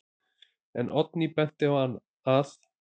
En Oddný benti á að: